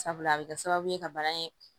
Sabula a bɛ kɛ sababu ye ka bana in